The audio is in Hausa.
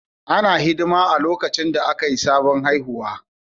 Ana hidiman haihuwa a lokacin da Akai sabon haihuwa